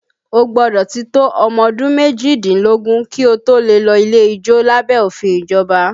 O gbọ́dọ̀ ti tó ọmọ ọdún méjìdínlógún kí o tó lè lọ ilé ijó lábẹ́ òfin ìjọba